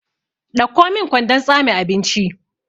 Ɗauko min kwandon tsame abinci!